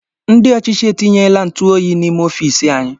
Ndị ọchịchị e tinyela ntuoyi n'ime ọfiisi anyị